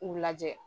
U lajɛ